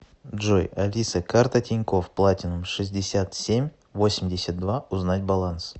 джой алиса карта тинькофф платинум шестьдесят семь восемьдесят два узнать баланс